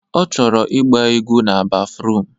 Ọ chọrọ ịgba egwu na bafruum